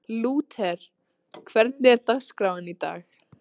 Lúther, hvernig er dagskráin í dag?